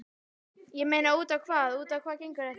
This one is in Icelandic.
Ég meina út á hvað, út á hvað gengur þetta?